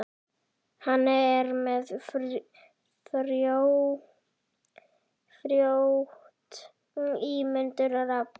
Hann er með frjótt ímyndunarafl.